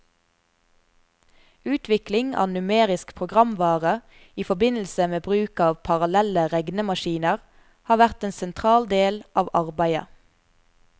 Utvikling av numerisk programvare i forbindelse med bruk av parallelle regnemaskiner har vært en sentral del av arbeidet.